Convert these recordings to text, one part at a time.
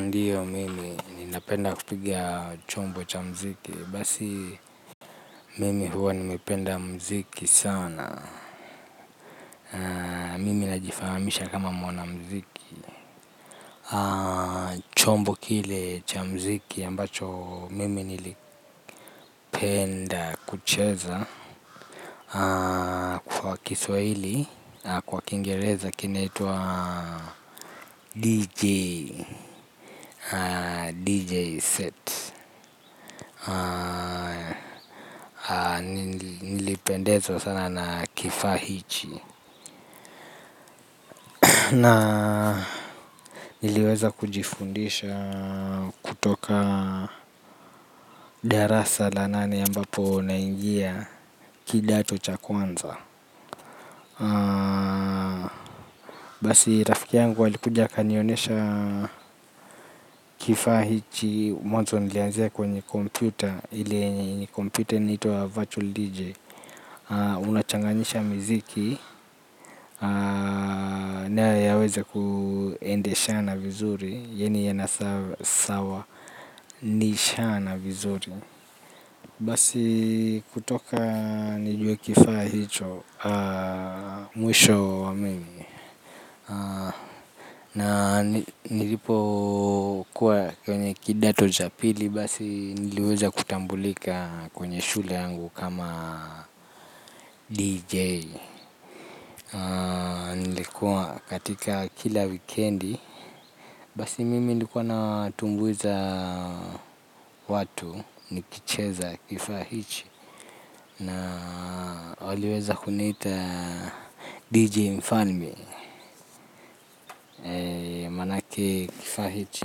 Ndio mimi ninapenda kupiga chombo cha muziki. Basi mimi huwa nimependa muziki sana, mimi najifahamisha kama mwanamuziki. Chombo kile cha mziki ambacho mimi nilipenda kucheza, kwa kiswahili, kwa kiingereza kinaitwa DJ, DJ Set. Nilipendezwa sana na kifaa hichi. Na niliweza kujifundisha kutoka darasa la nane ambapo naingia kidato cha kwanza. Basi rafiki yangu alikuja akanionyesha kifaa hichi. Mwanzo nilianzia kwenye kompyuta ile yenye kompyuta inaitwa virtual DJ. Unachanganisha miziki. Na yaweza kuendeshana vizuri. Yaani yanasawanishana vizuri. Basi kutoka nijue kifaa hicho, mwisho wa mimi na nilipokuwa kwenye kidato cha pili basi niliweza kutambulika kwenye shule yangu kama DJ. Nilikuwa katika kila wikendi. Basi mimi nilikuwa natumbuiza watu nikicheza kifaa hichi na waliweza kuniita Dj mfalme maanake kifaa hichi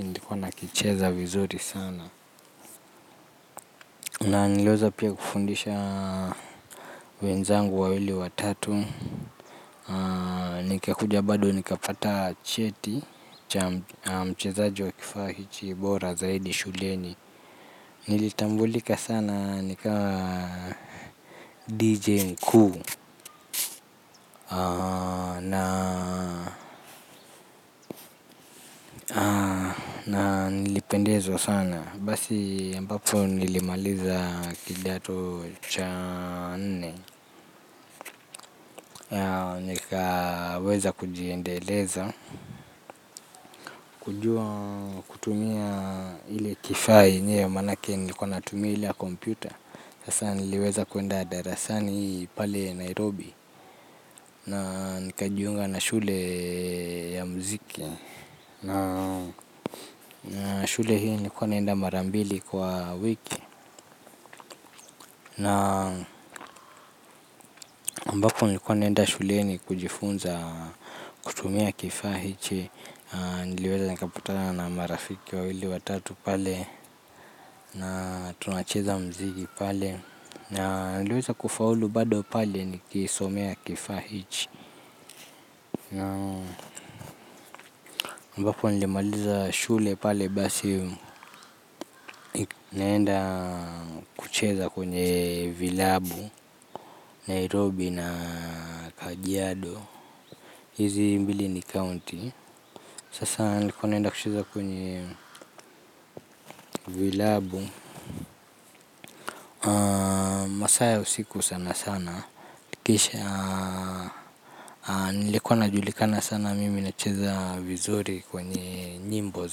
nilikua nakicheza vizuri sana. Na niliweza pia kufundisha wenzangu wawili, watatu. Nikakuja badu nikapata cheti cha mchezaji wa kifaa hichi bora zaidi shuleni. Nilitambulika sana nikawa Dj mkuu na nilipendezwa sana. Basi ambapo nilimaliza kidato cha nne. Nikaweza kujiendeleza kujua kutumia ile kifaa yenye maanake nilikuwa natumia ile ya kompyuta. Sasa niliweza kuenda darasani pale Nairobi. Na nikajiunga na shule ya muziki. Na shule hii nilikuwa naenda mara mbili kwa wiki. Na ambapo nilikuwa naenda shuleni kujifunza kutumia kifaa hichi, niliweza nikapatana na marafiki wawili, watatu pale. Na tunacheza muziki pale na niliweza kufaulu bado pale nikisomea kifaa hichi ambapo nilimaliza shule pale basi naenda kucheza kwenye vilabu, Nairobi na Kajiado. Hizi mbili ni county. Sasa nilikuwa naenda kucheza kwenye vilabu masaa ya usiku sana sana. Kisha nilikuwa najulikana sana mimi nacheza vizuri kwenye nyimbo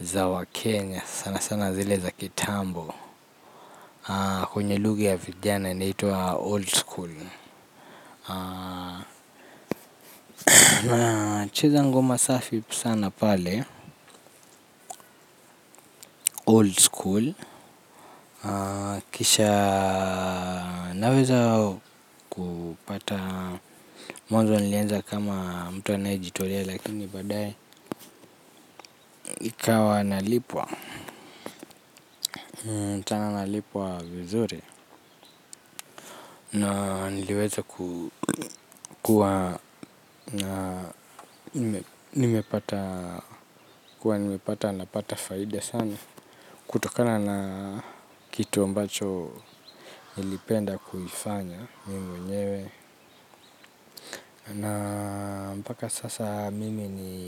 za wa Kenya sana sana zile za kitambo. Kwenye lugha ya vijana inaitwa old school nacheza ngoma safi sana pale Old school, kisha naweza kupata, mwanzo nilianza kama mtu anayetolea lakini baadae ikawa nalipwa. Na tena nalipwa vizuri. Na niliweza kukua. Nimepata napata faida sana kutokana na kitu ambacho ilipenda kuifanya mimi mwenyewe na mpaka sasa mimi ni.